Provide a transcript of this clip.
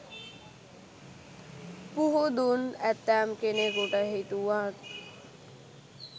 පුහුදුන් ඇතැම් කෙනෙකුට හිතුනත්